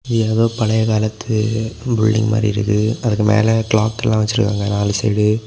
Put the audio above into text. ஏதோ பழையகாலத்து பில்டிங் மாறி இருக்குது அதுக்குமேல க்ளாக் எல்லாம் வச்சிருக்காங்க நாலு சைடு .